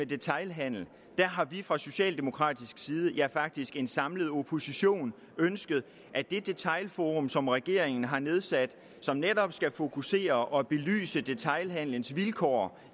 detailhandelen har vi fra socialdemokratisk side ja faktisk fra en samlet oppositions side ønsket at det detailforum som regeringen har nedsat som netop skal fokusere på og belyse detailhandelens vilkår